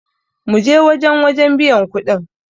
mu je wajen wajen biyan kuɗin!